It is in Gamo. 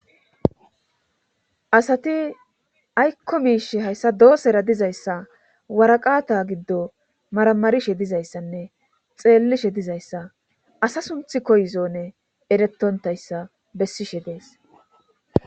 asati aykko miish hayssa doossera dizayssa waraqata giddo maramarishe dizayssanne xeellishe dizayssa asa sunth koyzonne erettontayssa bessishe dees